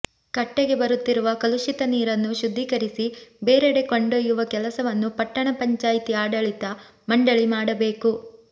ಕಟ್ಟೆಗೆ ಬರುತ್ತಿರುವ ಕಲುಷಿತ ನೀರನ್ನು ಶುದ್ಧೀಕರಿಸಿ ಬೇರೆಡೆ ಕೊಂಡೊಯ್ಯುವ ಕೆಲಸವನ್ನು ಪಟ್ಟಣ ಪಂಚಾಯಿತಿ ಆಡಳಿತ ಮಂಡಳಿ ಮಾಡಬೇಕು